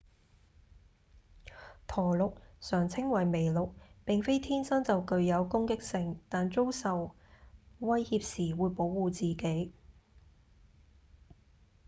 駝鹿常稱為麋鹿並非天生就具有攻擊性但遭受威脅時會保護自己